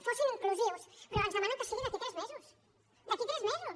fossin inclusius però ens demanen que sigui d’aquí a tres mesos d’aquí a tres mesos